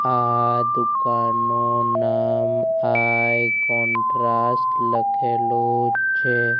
આ દુકાનનું નામ આઈ કોન્ટ્રાસ્ટ લખેલું છે.